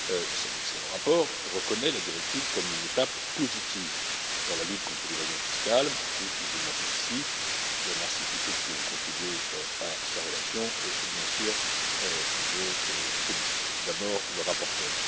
Cet excellent rapport reconnaît la directive comme une étape positive dans la lutte contre l'évasion fiscale, et je m'en félicite. Je remercie tous ceux qui ont contribué à sa rédaction et, bien sûr, je félicite d'abord le rapporteur.